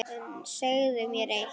En segðu mér eitt